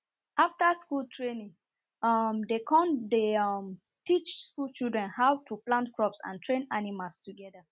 after school training um dem con dey um teach school children how to plant crops and train animals togeda